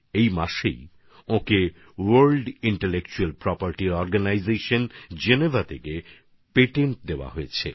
এই মাসেই তিনি জেনেভার বিশ্ব মেধাস্বত্ত্ব সংগঠন থেকে সেগুলির প্যাটেন্ট পেয়ে গেছেন